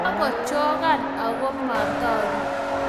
kakachokan agu matoruu